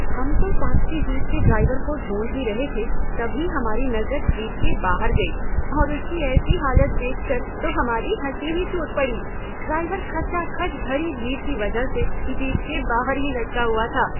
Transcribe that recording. हम तो taxi jeep के ड्राइवर को ढूंढ ही रहे थे, तभी हमारी नज़र जीप के बाहर गई और उसकी ऐसी हालत देखकर तो हमारी हँसी ही छूट पड़ी, ड्राइवर खचाखच भरी भीड़ की वजह से जीप के बाहर ही लटका हुआ था।